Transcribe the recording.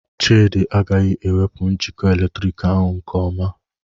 Chidi agaghị ewepu njikọ eletrik ahu nke ọma.